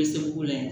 Bɛ se k'o layɛ